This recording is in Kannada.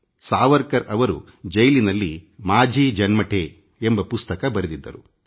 ಸಾವರ್ಕರ್ ಅವರು ಜೈಲಿನಲ್ಲಿಮಾಝಿ ಜನ್ಮಠೆ ಎಂಬ ಪುಸ್ತಕ ಬರೆದಿದ್ದರು